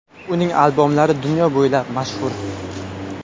Uning albomlari dunyo bo‘ylab mashhur.